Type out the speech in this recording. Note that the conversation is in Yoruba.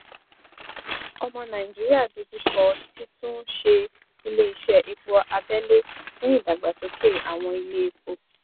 omo naijiria dojú kọ títún ṣe ilé iṣẹ epo abẹlé fún ìdàgbàsókè àwọn ilé epo